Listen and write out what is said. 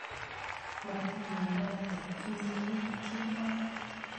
Matiwendate inyekei kemboi